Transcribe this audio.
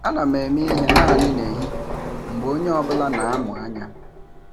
Ana m eme ihe naanị nehihie mgbe onye ọ bụla na-amụ anya.